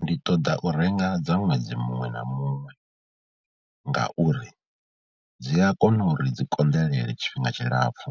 Ndi ṱoḓa u renga dza ṅwedzi muṅwe na muṅwe ngauri dzi a kona uri dzi konḓelele tshifhinga tshilapfhu